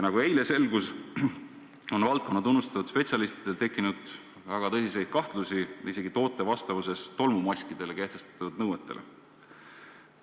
Nagu eile selgus, on valdkonna tunnustatud spetsialistidel tekkinud väga tõsiseid kahtlusi toote vastavuse suhtes isegi tolmumaskidele kehtestatud nõuetele.